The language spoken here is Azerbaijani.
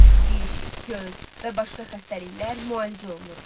Diş, göz və başqa xəstəliklər müalicə olunurdu.